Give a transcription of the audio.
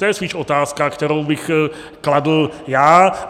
To je spíš otázka, kterou bych kladl já.